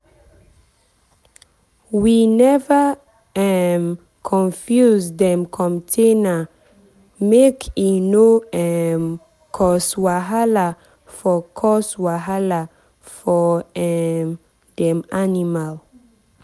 we never um confuse dem food container make e no um cause wahala for cause wahala for um dem animal.